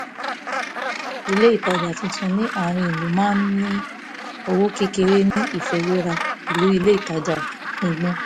ilé ìtajà tuntun ní àárín ìlú máa ń ní owó kéré ní ìfiwéra pẹ̀lú ilé ìtajà gbùngbùn